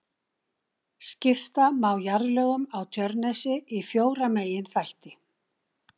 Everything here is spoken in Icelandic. Skipta má jarðlögum á Tjörnesi í fjóra meginþætti.